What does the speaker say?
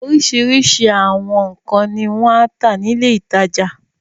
Oríṣiríṣi àwọn nǹkan ni wọ́n ń tà ní ilé-ìtajà.